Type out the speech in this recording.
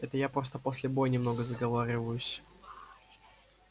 это я просто после боя немного заговариваюсь